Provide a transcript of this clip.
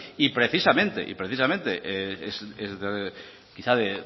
y precisamente es quizás